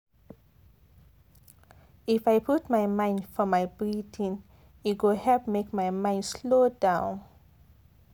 if i put my mind for my breathing e dey help make my mind slow down